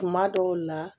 Kuma dɔw la